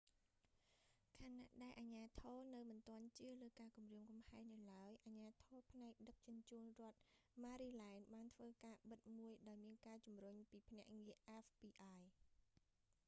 ខណៈដែលអាជ្ញាធរនៅមិនទាន់ជឿលើការគំរាមកំហែងនៅឡើយ អាជ្ញាធរផ្នែកដឹកជញ្ជូនរដ្ឋម៉ារីឡែនដ៍បានធ្វើការបិទមួយដោយមានការជំរុញពីភ្នាក់ងារអែហ្វប៊ីអាយfbi។